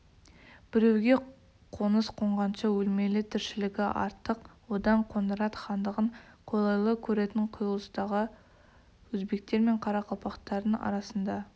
біреуге қоныс қонғанша өлмелі тіршілігі артық одан қоңырат хандығын қолайлы көретін құйылыстағы өзбектер мен қарақалпақтардың арасында